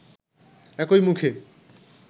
একই মুখে